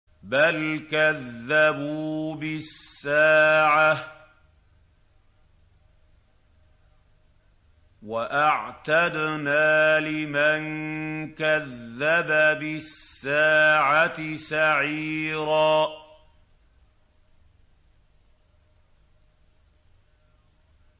بَلْ كَذَّبُوا بِالسَّاعَةِ ۖ وَأَعْتَدْنَا لِمَن كَذَّبَ بِالسَّاعَةِ سَعِيرًا